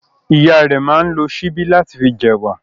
Ìyá rẹ̀ máa ń lo síbí láti fi jẹ ẹ̀wà.